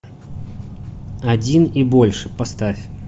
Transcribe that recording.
один и больше поставь